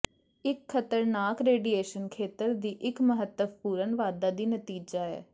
ਇਹ ਖਤਰਨਾਕ ਰੇਡੀਏਸ਼ਨ ਖੇਤਰ ਦੀ ਇੱਕ ਮਹੱਤਵਪੂਰਨ ਵਾਧਾ ਦਾ ਨਤੀਜਾ ਹੈ